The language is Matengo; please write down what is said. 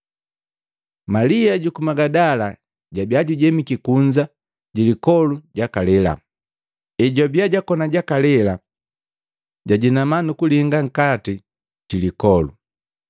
Malia juku magadala jabia jujemiki kunza jilipoli jakalela. Ejwabiya jakoni jakalela jajinama nukulinga nkati jilipoli,